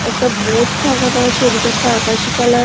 একটা বোট টাঙানো আছে ওদিকে একটা আকাশি কালার --